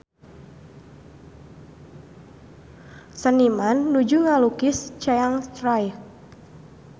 Seniman nuju ngalukis Chiang Rai